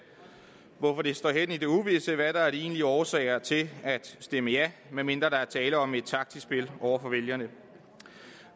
hvorfor det står hen i det uvisse hvad der er de egentlige årsager til at stemme ja medmindre der er tale om et taktisk spil over for vælgerne